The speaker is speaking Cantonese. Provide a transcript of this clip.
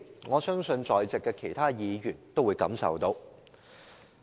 我相信在席其他議員皆感受得到。